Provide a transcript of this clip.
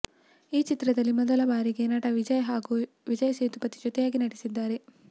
ಈ ಚಿತ್ರದಲ್ಲಿ ಮೊದಲ ಬಾರಿಗೆ ನಟ ವಿಜಯ್ ಹಾಗೂ ವಿಜಯ್ ಸೇತುಪತಿ ಜೊತೆಯಾಗಿ ನಟಿಸಿದ್ದಾರೆ